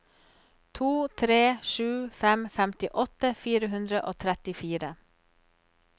to tre sju fem femtiåtte fire hundre og trettifire